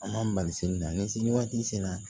An b'an balise ni se waati sera